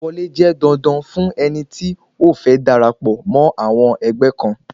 Ìgbà wọlé jẹ́ dandan fún ẹni tí ó fẹ́ darapọ̀ mọ́ àwọn ẹgbẹ́ kan